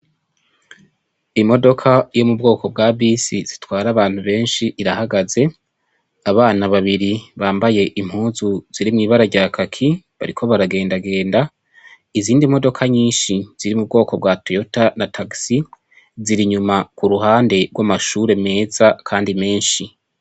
Imodoka iri mu bwoko bwa bisi zitwara abantu benshi irahagaze. Abana babiri bambaye impuzu ziri mw'ibara rya kaki bariko bragendagenda. Izindi modoka nyinshi ziri mu bwoko bwa Toyota na taxi ziri inyuma ku ruhande rw'amashure meza kandi menshi.